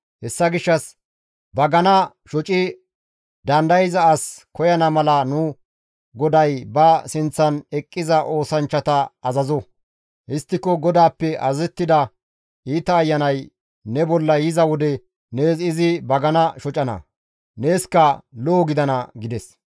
Hessa gishshas bagana shoci dandayza as koyana mala nu goday ba sinththan eqqiza oosanchchata azazo; histtiko GODAAPPE azazettida iita ayanay ne bolla yiza wode nees izi bagana shocana; neeskka lo7o gidana» gida.